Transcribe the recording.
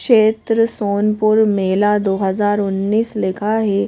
क्षेत्र सोनपुर मेला दो हज़ार उन्नीस लिखा है।